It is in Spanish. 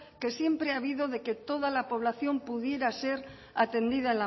que siempre ha habido de que toda la población pudiera ser atendida